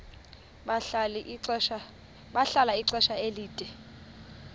bahlala ixesha elide